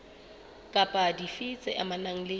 kapa dife tse amanang le